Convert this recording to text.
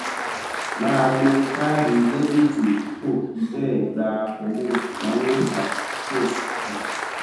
máa lo káàdì débètì tí kò fi béè gba owó ìnáwó tàbí tí kò sì fi